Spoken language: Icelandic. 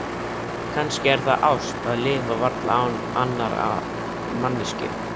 Kannski er það ást að lifa varla án annarrar manneskju.